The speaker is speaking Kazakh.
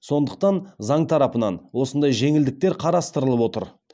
сондықтан заң тарапынан осындай жеңілдіктер қарастырылып отыр